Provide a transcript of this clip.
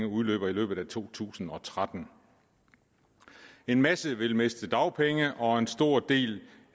udløber i løbet af to tusind og tretten en masse vil miste dagpengene og en stor del